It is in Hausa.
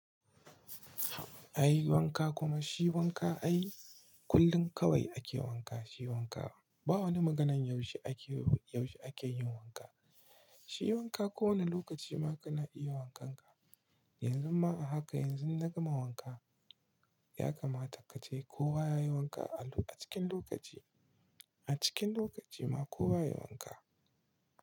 A yi wanka kuma shi wanka ai kullum kawai ake wanka. Shi wanka ba wani maganan yaushe ake, yaushe ake yin wanka. Shi wanka kowane lokaci ma kana iya wankan ka. Yanzu ma a haka yanzu na gama wanka. Yakamata kace kowa ya yi wanka a cikin lokaci, a cikin lokaci ma kowa ya yi wanka.